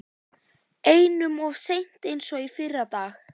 Einum of seinn eins og fyrri daginn!